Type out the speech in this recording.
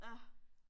Ja